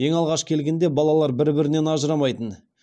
ең алғаш келгенді балалар бір бірімен ажырамайтын